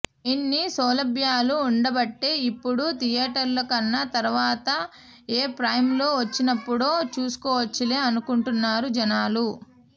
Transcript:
ఇన్ని సౌలభ్యాలు ఉండబట్టే ఇప్పుడు థియేటర్ల కన్నా తర్వాత ఏ ప్రైమ్ లో వచ్చినప్పుడో చూసుకోవచ్చులే అనుకుంటున్నారు జనాలు